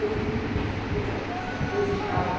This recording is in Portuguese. Eu fiz um curso de culinária antes de casar.